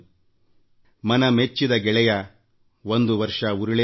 ಒಂದು ದಿನ ಹಿಂತಿರುಗಿ ಬರುತ್ತದೆ